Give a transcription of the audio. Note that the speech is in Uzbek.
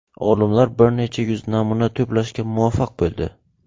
Olimlar bir necha yuz namuna to‘plashga muvaffaq bo‘ldi.